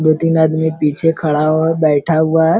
दो-तीन आदमी पीछे खड़ा हुआ बैठा हुआ है।